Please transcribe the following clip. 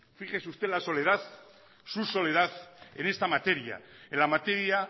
fíjese usted la soledad su soledad en esta materia en la materia